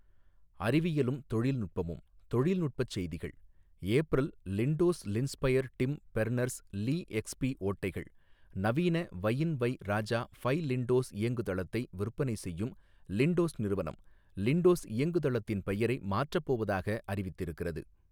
அறிவியலும் தொழில்நுட்பமும் தொழில்நுட்பச் செய்திகள் ஏப்ரல் லிண்டோஸ்லின்ஸ்பைர் டிம் பெர்னெர்ஸ் லீ எக்ஸ்பி ஓட்டைகள் நவீன வயின் வை ராஜா ஃபை லிண்டோஸ் இயங்குதளத்தை விற்பனை செய்யும் லிண்டோஸ் நிறுவனம் லிண்டோஸ் இயங்குதளத்தின் பெயரை மாற்றப்போவதாக அறிவித்திருக்கிறது.